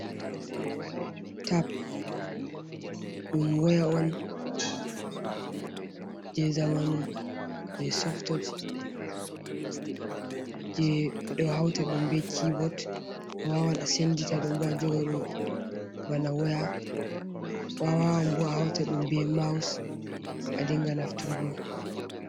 Tap ɗum woya on je zamanu je softoch, je ɓe ɗo hauta ɗum be kiibot, a wawan a sendita ɗon bo a joga ɗum bana waya, a wawan bo a hauta ɗum be maus a dinga naftargo.